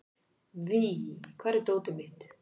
Víf, hvar er dótið mitt?